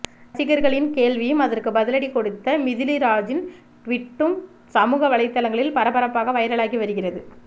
ரசிகரின் கேள்வியும் அதற்கு பதிலடி கொடுத்த மிதிலிராஜின் டுவீட்டும் சமூக வலைதளங்களில் பரபரப்பாக வைரலாகி வருகிறது